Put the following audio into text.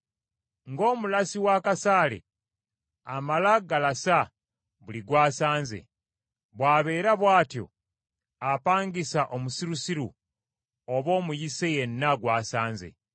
Ng’omulasi w’akasaale, amala galasa buli gw’asanze, bw’abeera bw’atyo apangisa omusirusiru oba omuyise yenna gw’asanze.